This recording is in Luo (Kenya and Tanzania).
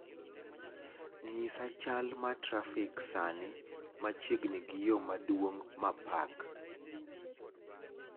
nyisa chal ma trafik sani machiegni gi yo maduong' ma park